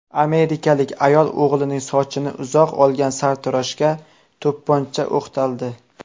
Amerikalik ayol o‘g‘lining sochini uzoq olgan sartaroshga to‘pponcha o‘qtaldi.